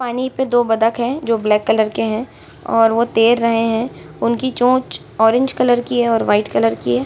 पानी में दो बतख हैं जो ब्लैक कलर के हैं और वो तैर रहे हैं उनकी चोंच ऑरेंज कलर की है वाइट कलर की है।